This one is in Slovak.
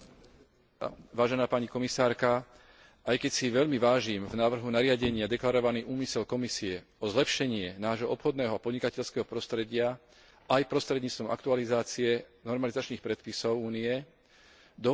Aj keď si veľmi vážim v návrhu nariadenia deklarovaný úmysel Komisie o zlepšenie nášho obchodného a podnikateľského prostredia aj prostredníctvom aktualizácie normalizačných predpisov Únie, dovolím si pripomenúť, že súčasný systém funguje pomerne dobre.